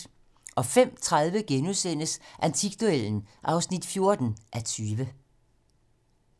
05:30: Antikduellen (14:20)*